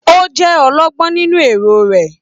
O jẹ ọlọgbọn nínú èrò rẹ.